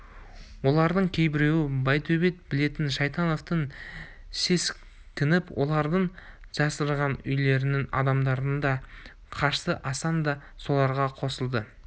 олардың кейбіреуін байтөбет білетін шайтановтан сескеніп олардың жасырынған үйлерінің адамдары да қашты асан да соларға қосылды